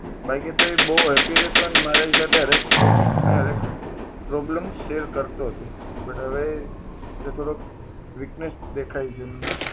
બાકી તો એ બહુ happy રહેતો ને મારી problem share કરતો હતો but હવે એ થોડો weakness દેખાય છે મને હવે